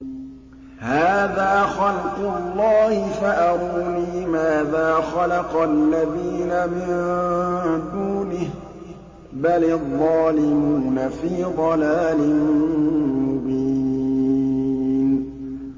هَٰذَا خَلْقُ اللَّهِ فَأَرُونِي مَاذَا خَلَقَ الَّذِينَ مِن دُونِهِ ۚ بَلِ الظَّالِمُونَ فِي ضَلَالٍ مُّبِينٍ